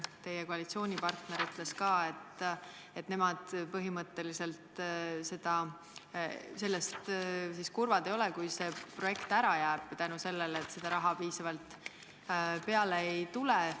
Teie koalitsioonipartner ütles siin, et nemad põhimõtteliselt kurvad ei ole, kui see projekt jääb ära tänu sellele, et piisavalt raha peale ei tule.